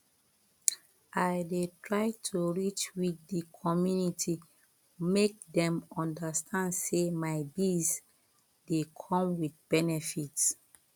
i dey try to reach with di community make dem understand say my biz dey come with benefits